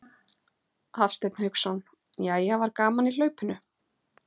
Hafsteinn Hauksson: Jæja var gaman í hlaupinu?